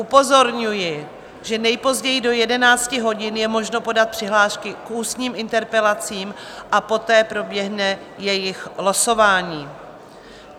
Upozorňuji, že nejpozději do 11 hodin je možno podat přihlášky k ústním interpelacím a poté proběhne jejich losování.